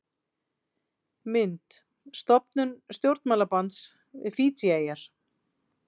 Mynd: Stofnun stjórnmálasambands við Fídjieyjar.